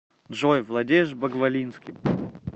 джой владеешь багвалинским